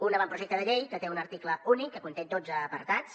un avantprojecte de llei que té un article únic que conté dotze apartats